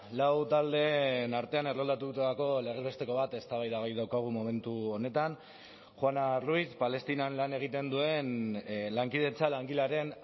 lau taldeen artean erroldatutako legez besteko bat eztabaidagai daukagu momentu honetan juana ruiz palestinan lan egiten duen lankidetza langilearen